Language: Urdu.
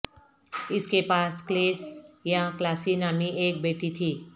اس کے پاس کلیس یا کلاسی نامی ایک بیٹی تھی